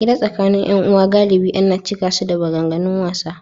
Hira tsakanin ’yan’uwa galibi ana cika su da maganganun wasa.